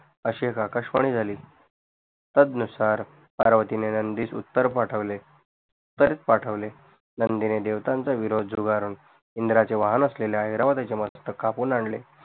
अशी एक आकाशवाणी झाली तद नुसार पार्वतीने नंदिस उत्तर पाठवले परत पाठवले नंदिने देवतांचा विरोध झुगारून इंद्राचे वाहन असलेल्या इरवडचे मस्तक कापून आणले